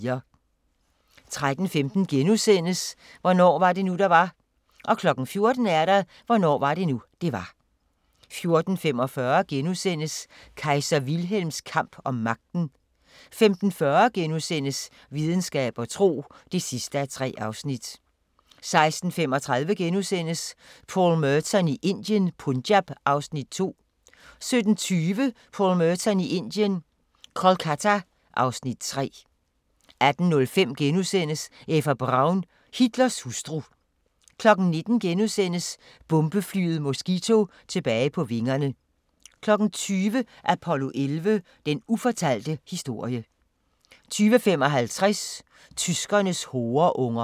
13:15: Hvornår var det nu, det var? * 14:00: Hvornår var det nu, det var? 14:45: Kejser Wilhelms kamp om magten * 15:40: Videnskab og tro (3:3)* 16:35: Paul Merton i Indien – Punjab (Afs. 2)* 17:20: Paul Merton i Indien – Kolkata (Afs. 3) 18:05: Eva Braun – Hitlers hustru * 19:00: Bombeflyet Mosquito tilbage på vingerne * 20:00: Apollo 11: Den ufortalte historie 20:55: Tyskernes horeunger